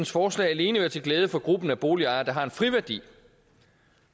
forslag alene være til glæde for gruppen af boligejere der har en friværdi